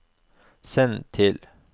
send til